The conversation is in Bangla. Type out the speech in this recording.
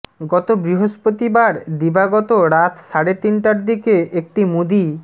গত বৃহস্পতিকার দিবাগত রাত সাড়ে তিনটার দিকে একটি মুদি